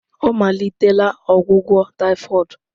Ọ malitela ọgwụgwọ typhoid.